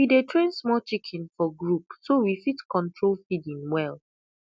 we dey train small chicken for group so we fit control feeding well